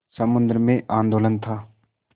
समुद्र में आंदोलन था